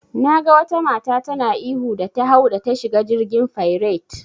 Naga wata mata tana ihu da ta hau da ta shiga jirgin fairet.